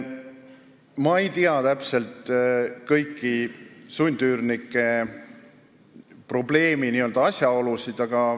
Ma ei tea täpselt kõiki sundüürnike probleemi asjaolusid.